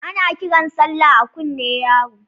Ana kiran Sallah a kunne yaro